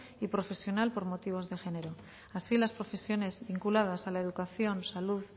y profesional por motivos de género así las profesiones vinculadas a la educación salud